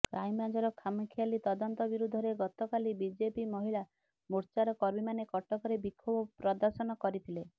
କ୍ରାଇମବ୍ରାଞ୍ଚର ଖାମଖିଆଲି ତଦନ୍ତ ବିରୋଧରେ ଗତକାଲି ବିଜେପି ମହିଳା ମୋର୍ଚ୍ଚାର କର୍ମୀମାନେ କଟକରେ ବିକ୍ଷୋଭ ପ୍ରଦର୍ଶନ କରିଥିଲେ